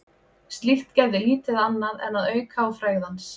Slíkt gerði lítið annað en að auka á frægð hans.